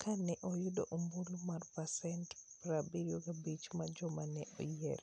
ka ne oyudo ombulu mar pasent 75 mar joma ne oyier.